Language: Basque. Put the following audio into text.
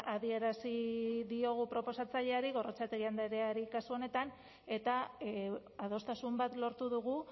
adierazi diogu proposatzaileari gorrotxategi andreari kasu honetan eta adostasun bat lortu dugu